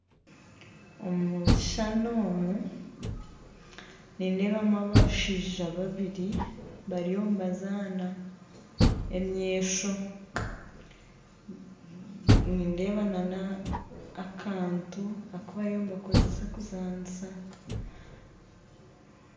Omukishushani omu nindeebamu abashaija babiri bariyo nibazaana emyesho nindeeba n'akantu aku bariyo nibakozesa kuzaanisa